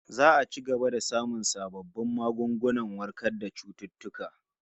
Za'a ci gaba da samun sabbin magungunan warkar da cututtuka